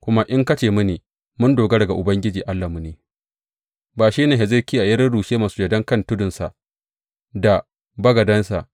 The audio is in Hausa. Kuma in ka ce mini, Mun dogara ga Ubangiji Allahnmu ne ba shi ba ne Hezekiya ya rurrushe masujadan kan tudunsa da bagadansa,